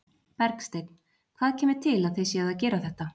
Bergsteinn, hvað kemur til að þið séuð að gera þetta?